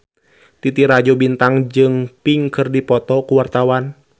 Titi Rajo Bintang jeung Pink keur dipoto ku wartawan